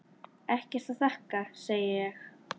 Ekkert að þakka, segi ég.